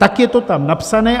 Tak je to tam napsané.